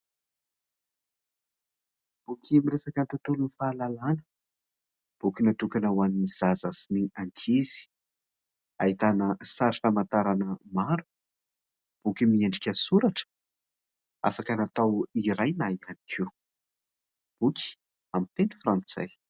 Boky miresaka ny tontolon'ny fahalalàna, boky natokana ho an'ny zaza sy ny ankizy, ahitana sary famantarana maro, boky miendrika soratra afaka natao iray nahitany koa boky amin'ny teny frantsay.